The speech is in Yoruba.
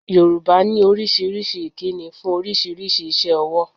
Yorùbá ní oríṣiríṣi ìkíni fún oríṣiríṣi iṣẹ́ owó